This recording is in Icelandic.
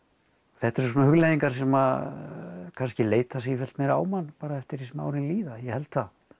þetta eru svona hugleiðingar sem kannski leita sífellt meira á mann eftir því sem árin líða ég held það